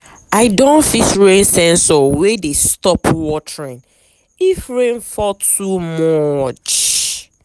i don fix rain sensor wey dey stop watering if rain fall too much.